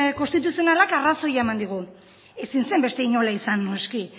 konstituzionalak arrazoia eman digu ezin zen beste inola izan noski